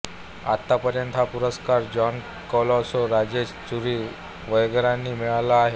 आतापर्यंत हा पुरस्कार जॉन कोलासो राजेश चुरी वगैरेंना मिळाला आहे